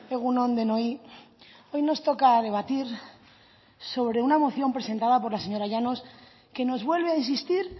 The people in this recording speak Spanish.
egun on denoi hoy nos toca debatir sobre una moción presentada por la señora llanos que nos vuelve a insistir